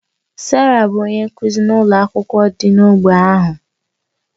Sarah bụ onye nkụzi n'ụlọ akwụkwọ dị n'ógbè ahụ.